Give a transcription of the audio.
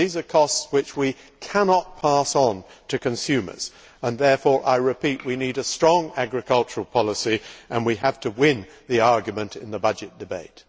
These are costs which we cannot pass on to consumers, and therefore I repeat we need a strong agricultural policy, and we have to win the argument in the budget debate.